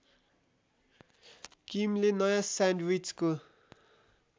किमले नयाँ स्यान्डविचको